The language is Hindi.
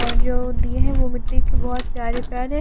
और जो दिए हैं वो मिट्टी के बहोत प्यारे प्यारे--